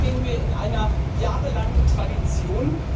Da stehen wir in einer jahrelangen Tradition.